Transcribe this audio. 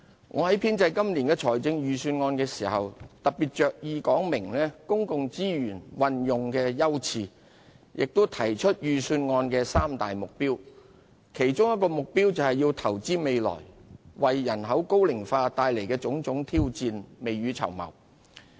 我在編製今年的預算案時，特別着意說明公共資源運用的優次，亦提出預算案的三大目標，其一就是投資未來，為人口高齡化帶來的種種挑戰未雨綢繆。